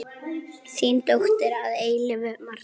Þín dóttir að eilífu, Marta.